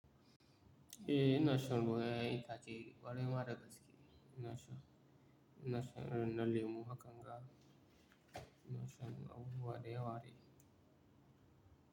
Eh, inashan ruwa ita ce ƙwarai ma da gaske. Inasha, inashan irinna lemu, hakan ga inasha abubuwa dayawa dai.